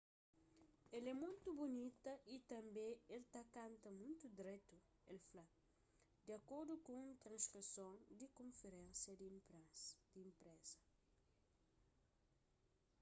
el é mutu bunita y tanbê el ta kanta mutu dretu el fla di akordu ku un transkrison di konferénsia di inpresa